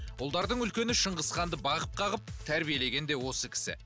ұлдардың үлкені шыңғысханды бағып қағып тәрбиелеген де осы кісі